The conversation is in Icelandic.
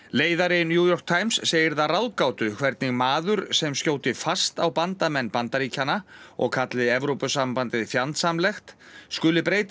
leiðari New York Times segir það ráðgátu hvernig maður sem skjóti fast á bandamenn Bandaríkjanna og kalli Evrópusambandið fjandsamlegt skuli breytast